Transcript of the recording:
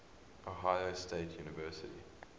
ohio state university